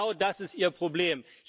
Genau das ist Ihr Problem.